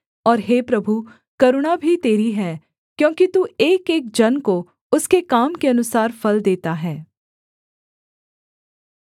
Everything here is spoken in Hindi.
और हे प्रभु करुणा भी तेरी है क्योंकि तू एकएक जन को उसके काम के अनुसार फल देता है